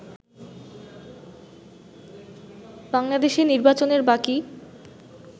বাংলাদেশে নির্বাচনের বাকী